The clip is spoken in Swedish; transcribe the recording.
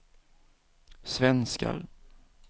svenskar